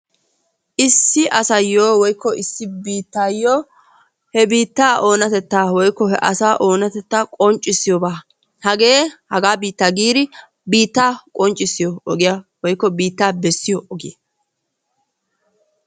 Issi asayyo woykko issi biittaayyo he biittaa oonatettaa woykko he asaa oonatatta qonccissiyoba. Hagee hagaa biittaa giidi biittaa qonccissiyo ogiya woykko biittaa bessiyo ogiya.